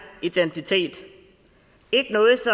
identitet ikke noget